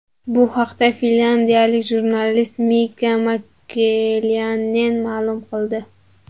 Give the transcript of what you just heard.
Bu haqda finlyandiyalik jurnalist Mika Makelaynen ma’lum qildi.